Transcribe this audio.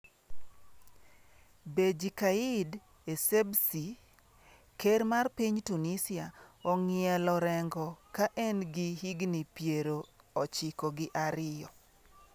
Beji Caid Essebsi: Ker mar Piny Tunisia ong'ielo rengo ka en gi higni piero ochiko gi ariyo